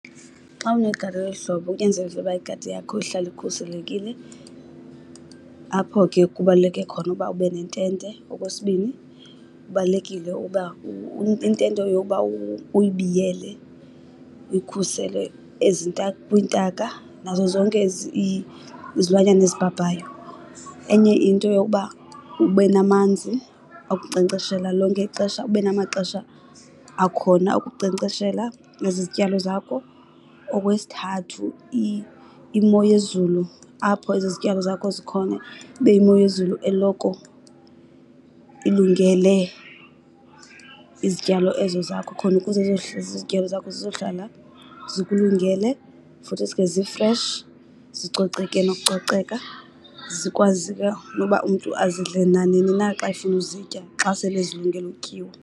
Xa unegadi elo luhlobo kunyanzelekile uba igadi yakho ihlale ikhuselekile, apho ke kubaluleke khona uba ube nentente. Okwesibini, kubalulekile uba intente yoba uyibiyele, uyikhusele kwiintaka nazo zonke izilwanyana ezibhabhayo. Enye into yoba ube namanzi okunkcenkceshela lonke ixesha, ube namaxesha akhona okunkcenkceshela ezi zityalo zakho. Okwesithathu, imo yezulu apho ezi zityalo zakho zikhona ibe yimo yezulu eloko ilungele izityalo ezo zakho khona ukuze izityalo zakho zizohlala zikulungele futhisi ke zi-fresh, zicoceke nokucoceka. Zikwazi ke noba umntu azidle nanini na xa efuna uzitya xa sele zilungele utyiwa.